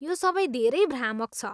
यो सबै धेरै भ्रामक छ।